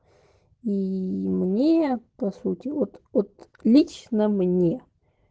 и мне по сути вот вот лично мне